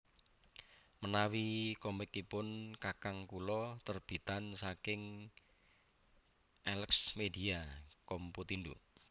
Menawi komikipun kakang kulo terbitan saking Elexmedia Computindo